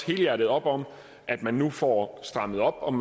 helhjertet op om at man nu får strammet op